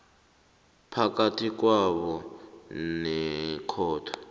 phakathi kwakho nekhotho